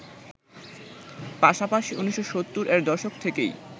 পাশাপাশি ১৯৭০এর দশক থেকেই